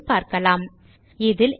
இத்துடன் இந்த டியூட்டோரியல் முடிகிறது